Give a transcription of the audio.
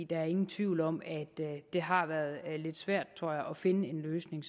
der er ingen tvivl om at det har været lidt svært tror jeg sådan umiddelbart at finde en løsning